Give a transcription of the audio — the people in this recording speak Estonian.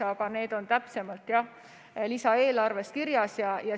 Aga need on täpsemalt jah lisaeelarves kirjas.